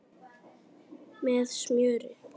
Með smjöri.